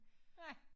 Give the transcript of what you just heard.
Nej